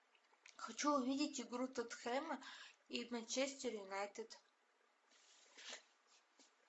хочу увидеть игру тоттенхэма и манчестер юнайтед